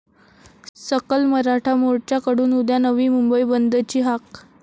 सकल मराठा मोर्च्याकडून उद्या नवी मुंबई बंदची हाक